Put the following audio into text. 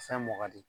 Fɛn mɔ de